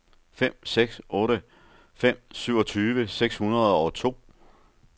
fem seks otte fem syvogtyve seks hundrede og to